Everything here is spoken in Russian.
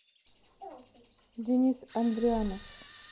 денис андрианов